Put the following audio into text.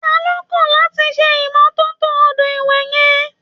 Ta ló kàn láti ṣe ìmọ́tótó odò ìwẹ̀ yẹn?